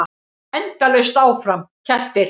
Endalaust áfram: kettir.